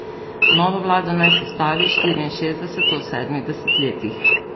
Novo vlado naj sestavi, štiriinšestdeseto v sedmih desetletjih.